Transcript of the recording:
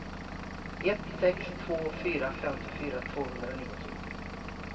ett sex två fyra femtiofyra tvåhundranittio